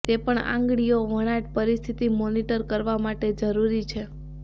તે પણ આંગળીઓ વણાટ પરિસ્થિતિ મોનીટર કરવા માટે જરૂરી છે